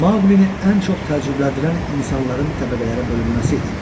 Maqulini ən çox təəccübləndirən insanların təbəqələrə bölünməsi idi.